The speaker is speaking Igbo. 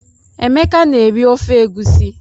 Emeka na-eri ofe egusi.